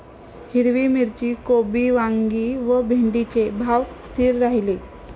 हिरवी मिरची, कोबी, वांगी व भेंडीचे भाव स्थिर राहिले.